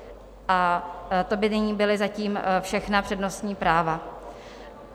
A to by byla nyní zatím všechna přednostní práva.